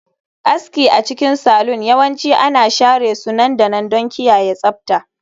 Aski a cikin salon yawanci ana share su nan da nan don kiyaye tsabta